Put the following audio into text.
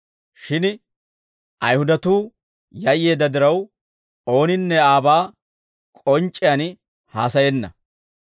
Shin Ayihudatuu yayyeedda diraw, ooninne aabaa k'onc'c'iyaan haasayenna.